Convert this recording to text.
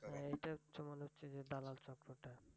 উহ এইটা তোমার হচ্ছে যে দালাল চক্রটা